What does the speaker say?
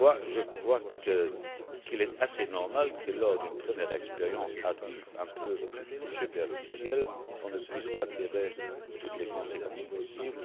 Je crois qu'il est assez normal que lors d'une première expérience hâtive un peu superficielle, on ne puisse pas tirer toutes les conséquences possibles.